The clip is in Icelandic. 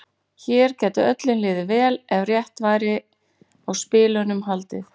Hér gæti öllum liðið vel ef rétt væri á spilunum haldið.